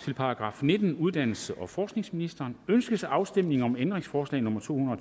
til § nittende uddannelses og forskningsministeriet ønskes afstemning om ændringsforslag nummer to hundrede og